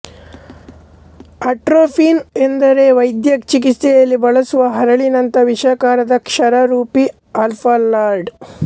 atropine ಎಂದರೆ ವೈದ್ಯಚಿಕಿತ್ಸೆಯಲ್ಲಿ ಬಳಸುವ ಹರಳಿನಂಥ ವಿಷಕಾರಕ ಕ್ಷಾರರೂಪಿ ಆಲ್ಕಲಾಯ್ಡ್